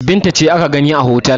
Binta ce aka gani a otel.